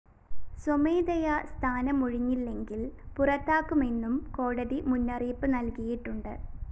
സ്വമേധയാ സ്ഥാനമൊഴിഞ്ഞില്ലെങ്കില്‍ പുറത്താക്കുമെന്നും കോടതി മുന്നറിയിപ്പ്‌ നല്‍കിയിട്ടുണ്ട്‌